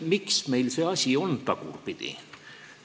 Miks meil see asi tagurpidi on?